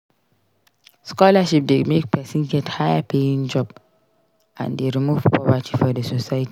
Scholarship de make persin get high paying job and de remove poverty for the society